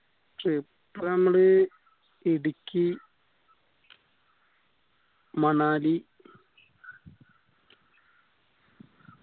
trip മ്മള് ഇടുക്കി മണാലി